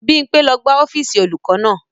Bímpé ló gbá ọ́fíìsì olùkọ́ náà